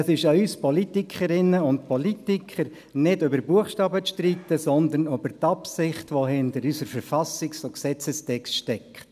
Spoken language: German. Es ist an uns Politikerinnen und Politikern, nicht über Buchstaben zu streiten, sondern über die Absicht, die hinter unseren Verfassungs- und Gesetzestexten steckt.